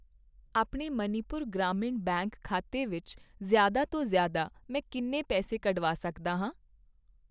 ਆਪਣੇ ਮਨੀਪੁਰ ਗ੍ਰਾਮੀਣ ਬੈਂਕ ਖਾਤੇ ਵਿੱਚ ਜ਼ਿਆਦਾ ਤੋਂ ਜ਼ਿਆਦਾ, ਮੈਂ ਕਿੰਨੇ ਪੈਸੇ ਕੱਢਵਾ ਸਕਦਾ ਹਾਂ ?